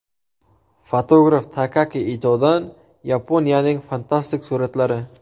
Fotograf Takaaki Itodan Yaponiyaning fantastik suratlari .